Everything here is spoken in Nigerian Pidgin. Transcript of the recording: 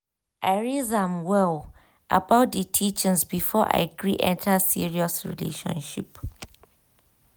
i raise am well about d teachings before i gree enter serious relationship.